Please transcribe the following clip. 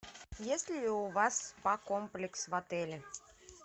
есть ли у вас спа комплекс в отеле